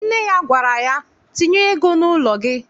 Nne ya gwara ya, tinye ego n'ụlọ gị!